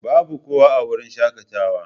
Babu kowa a wurin shakatawa.